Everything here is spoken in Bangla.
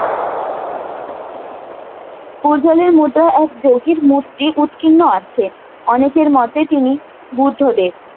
পূর্জলের মুদ্রা এক যোগীর মূর্তি উৎকীর্ণ আছে অনেকের মতে তিনি বুদ্ধদেব